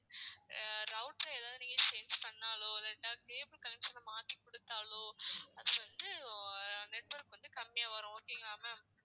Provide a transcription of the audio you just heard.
ஆஹ் router அ ஏதாவது நீங்க change பண்ணாலோ இல்லாட்டா cable connection அ மாத்தி கொடுத்தாலோ அது வந்து network வந்து கம்மியா வரும் okay வா ma'am